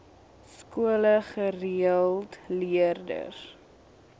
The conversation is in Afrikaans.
skole gereeld leerders